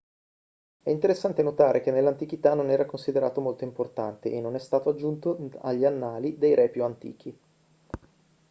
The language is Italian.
è interessante notare che nell'antichità non era considerato molto importante e non è stato aggiunto agli annali dei re più antichi